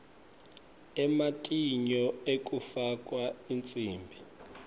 ematinyo ekufakwa ensimbi